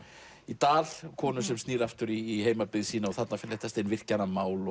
í dal konu sem snýr aftur í heimabyggð sína og þarna fléttast inn virkjanamál